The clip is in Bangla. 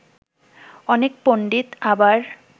অনেক পণ্ডিত আবার